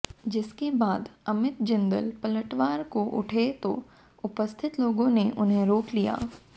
जिसके बाद अमित जिंदल पलटवार को उठे तो उपस्थित लोगों ने उन्हें रोक लिया